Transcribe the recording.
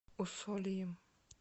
усольем